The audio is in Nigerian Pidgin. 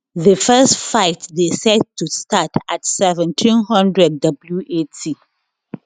di first fight dey set to start at1700 wat